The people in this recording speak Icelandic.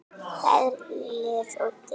Ferlið og dygðin.